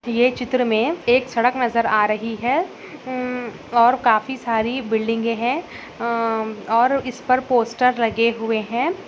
ये चित्र मे एक सड़क नजर आ रही है अ उम् और काफी सारी बिल्डिंगे है उम और इसपर पोस्टर लगे हुए है।